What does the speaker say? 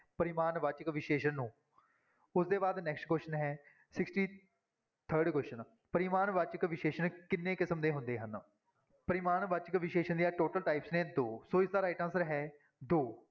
ਪਰਿਮਾਣਵਾਚਕ ਵਿਸ਼ੇਸ਼ਣ ਨੂੰ ਉਹਦੇ ਬਾਅਦ next question ਹੈ sixty-third question ਪਰਿਮਾਣਵਾਚਕ ਵਿਸ਼ੇਸ਼ਣ ਕਿੰਨੇ ਕਿਸਮ ਦੇ ਹੁੰਦੇ ਹਨ, ਪਰਿਮਾਣਵਾਚਕ ਵਿਸ਼ੇਸ਼ਣ ਦੀਆਂ total types ਨੇ ਦੋ ਸੋ ਇਸਦਾ right answer ਹੈ ਦੋ